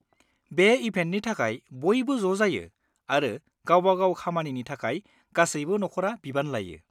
बे इभेन्टनि थाखाय बयबो ज' जायो आरो गावबा-गाव खामानिनि थाखाय गासैबो नखरआ बिबान लायो।